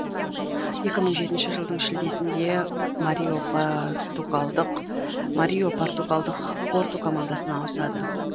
екі мың жетінші жылдың шілдесінде марио португалдық порту командасына ауысады